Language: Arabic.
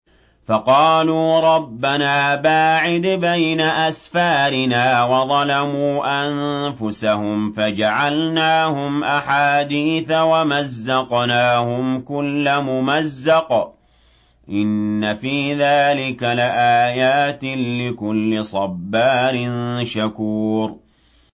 فَقَالُوا رَبَّنَا بَاعِدْ بَيْنَ أَسْفَارِنَا وَظَلَمُوا أَنفُسَهُمْ فَجَعَلْنَاهُمْ أَحَادِيثَ وَمَزَّقْنَاهُمْ كُلَّ مُمَزَّقٍ ۚ إِنَّ فِي ذَٰلِكَ لَآيَاتٍ لِّكُلِّ صَبَّارٍ شَكُورٍ